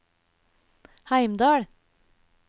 Heimdal